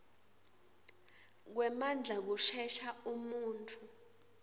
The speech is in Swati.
kwemandla kusesha umuntfu